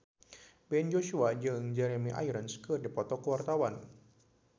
Ben Joshua jeung Jeremy Irons keur dipoto ku wartawan